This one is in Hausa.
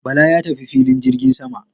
Bala ya tafi filin jirgin sama